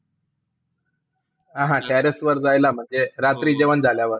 हा, हा terrace वर जायला म्हणजे, रात्री जेवण झाल्यावर.